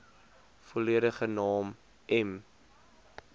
volledige naam m